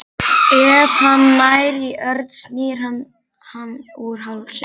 Ef hann nær í Örn snýr hann hann úr hálsliðnum.